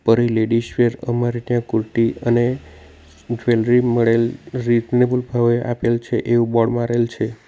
પરી ladies wear અમારે ત્યાં કુર્તી અને જ્વેલરી મળેલ રિઝનેબલ ભાવે આપેલ છે એવું બોર્ડ મારેલ છે.